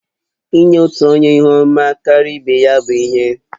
Inye otu onye ihu ọma karịa ibe ya bụ ihe n